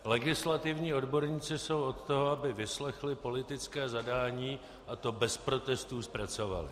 Legislativní odborníci jsou od toho, aby vyslechli politické zadání a to bez protestů zpracovali.